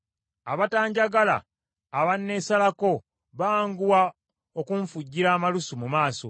abatanjagala abanneesalako, banguwa okunfujjira amalusu mu maaso.